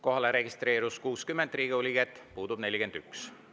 Kohalolijaks registreerus 60 Riigikogu liiget, puudub 41.